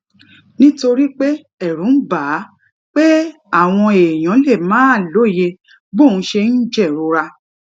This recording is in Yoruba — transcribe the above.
nítorí pé èrù ń bà á pé àwọn èèyàn lè máà lóye bóun ṣe ń jèrora